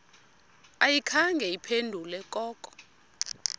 ayikhange iphendule koko